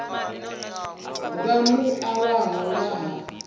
vha mua wavho nga ha